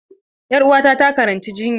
Ƴar uwata takaranci jinya.